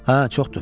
Hə, çoxdur.